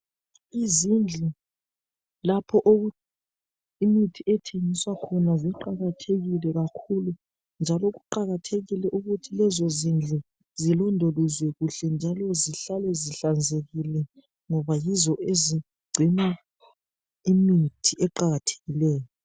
Izindlu lapho imithi ethengiswa khona ziqakathekile kakhulu njalo kuqakathekile ukuthi lezo zindlu zilondolozwe kuhle njalo zihlale zihlanzekile ngoba yizo ezingcina imithi eqakathekileyo.